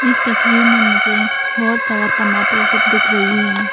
इस तस्वीर में मुझे बहुत सारा टमाटर सब दिख रही है।